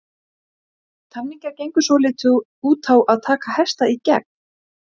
Góðu fréttirnar: það eru tvær vikur í EM.